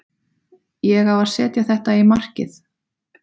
Ég á að setja þetta í markið.